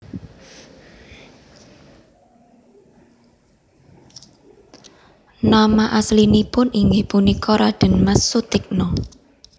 Nama aslinipun inggih punika Radén Mas Sutikna